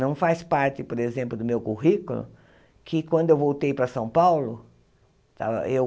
Não faz parte, por exemplo, do meu currículo que quando eu voltei para São Paulo, eu